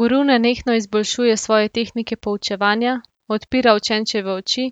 Guru nenehno izboljšuje svoje tehnike poučevanja, odpira učenčeve oči,